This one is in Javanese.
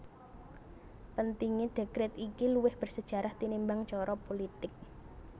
Pentingé dèkret iki luwih bersejarah tinimbang cara pulitik